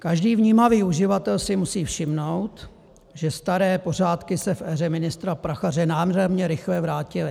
Každý vnímavý uživatel si musí všimnout, že staré pořádky se v éře ministra Prachaře nádherně rychle vrátily.